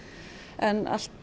en allt